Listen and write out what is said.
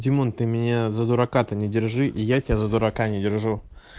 димон ты меня за дурака то не держи и я тебя за дурака не держу